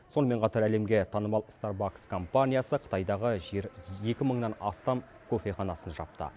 сонымен қатар әлемге танымал старбакс компанясы қытайдағы екі мыңнан астам кофеханасын жапты